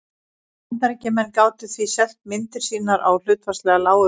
Bandaríkjamenn gátu því selt myndir sínar á hlutfallslega lágu verði.